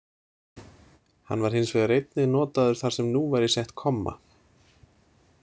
Hann var hins vegar einnig notaður þar sem nú væri sett komma.